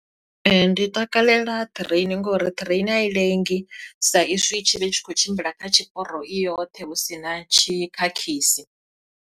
Ee ndi takalela ṱireini ngori ṱireini a i lengi sa izwi i tshi vhe tshi khou tshimbila kha tshiporo i yoṱhe hu si na tshikhakhisi.